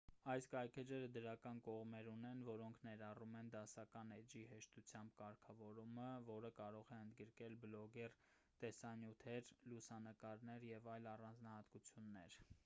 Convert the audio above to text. այս կայքէջերը դրական կողմեր ունեն որոնք ներառում են դասական էջի հեշտությամբ կարգավորումը որը կարող է ընդգրկել բլոգներ տեսանյութեր լուսանկարներ և այլ առանձնահատկություններ